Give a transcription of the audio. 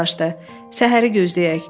Səhəri gözləyək.